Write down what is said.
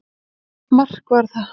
Mark var það.